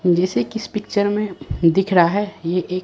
जैसे कि इस पिक्चर में दिख रहा है ये एक--